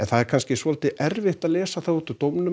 það er kannski soldið erfitt að lesa það úr dómnum